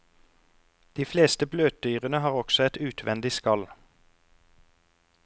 De fleste bløtdyrene har også et utvendig skall.